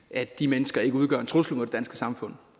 at de mennesker ikke udgør en trussel mod det danske samfund